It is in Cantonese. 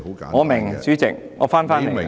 我明白，我會返回的......